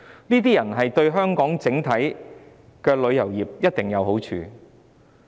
這些遊客對香港整體的旅遊業一定有好處。